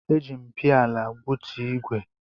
Eji m piala gbutu ígwè.